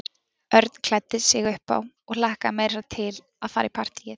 Örn klæddi sig upp á og hlakkaði meira að segja til að fara í partíið.